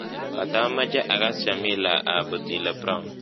Katamache akass jamila ab Otile Brown